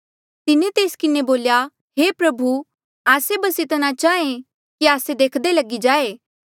तिन्हें तेस किन्हें बोल्या हे प्रभु आस्से बस इतना चाहां कि हांऊँ देख्दा लगी जाऊं